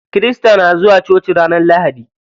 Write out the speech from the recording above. Kirista na zuwa coci ranar lahadi.